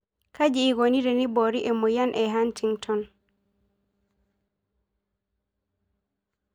Kaji eikoni teneibori emoyian e Hantington?